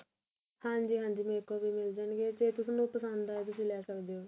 ਹਾਂਜੀ ਹਾਂਜੀ ਮੇਰੇ ਕੋਲ ਵੀ ਮਿਲ ਜਾਣਗੇ ਜੇ ਤੁਸੀਂ ਨੂੰ ਪਸੰਦ ਆਏ ਤਾਂ ਤੁਸੀਂ ਲੈ ਸਕਦੇ ਓ